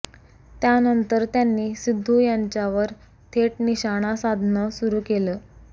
त्यानंतर त्यांनी सिद्धू यांच्यावर थेट निशाणा साधणं सुरू केलं